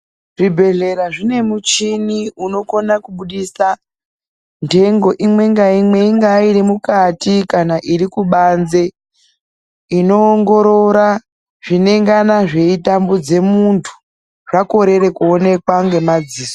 Zvibhedhlera zvine muchini unokona kubudisa, ntengo imwe ngaimwe ingaairi mukati kana iri kubanze, inoongorora, zvinengana zveitambudze muntu, zvakorere kuonekwa ngemadziso.